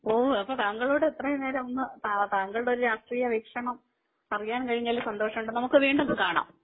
ഓ അപ്പം താങ്കളോട് അത്രയുംനേരം ഒന്ന്താങ്കളുടെഒരു രാഷ്ട്രീയ വീക്ഷണം അറിയാൻ കഴിഞ്ഞതിൽ സന്തോഷമുണ്ട് നമുക്ക് വീണ്ടും കാണാം